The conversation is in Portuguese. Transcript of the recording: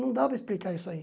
Não dá para explicar isso aí.